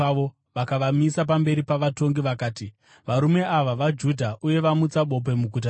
Vakavamisa pamberi pavatongi vakati, “Varume ava vaJudha, uye vamutsa bope muguta redu